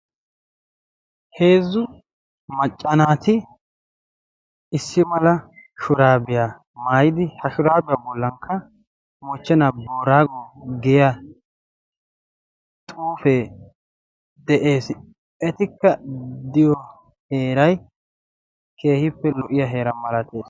heezzu maccanaati issi mala shuraabiyaa maayidi ha shuraabiyaa bollankka mochchenaa boraagon giya xuufee de7ees etikka diyo heerai keehiippe lo77iya heera malates